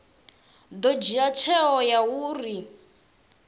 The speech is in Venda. ḓo dzhia tsheo ya uri